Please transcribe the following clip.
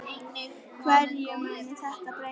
Hverju mun þetta breyta?